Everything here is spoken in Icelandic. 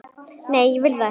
Nei, ég vil það ekki.